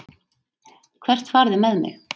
Hvert farið þið með mig?